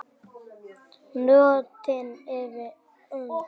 Nóttin er ung